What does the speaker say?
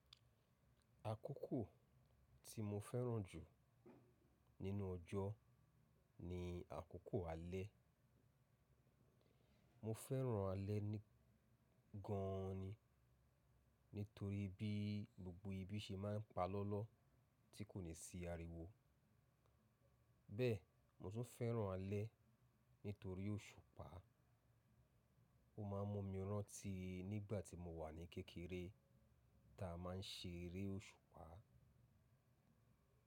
Àkókò tí mo fẹ́ràn jù nínú ọjọ́ ni àkókò alẹ́. Mo fẹ́ràn alẹ́ ni gan ni nítorí bí gbogbo ibi ṣe máa ń pa lọ́lọ́ tí kò ní sí ariwo. Bẹ́ẹ̀, mo tún fẹ́ràn alẹ́ nítorí òṣùpá. Ó máa ń mú mi rántí nígbà tí mo wà ní kékeré tí a máa ń ṣeré òṣùpá.